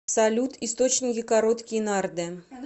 салют источники короткие нарды